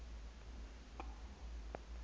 lonongxowa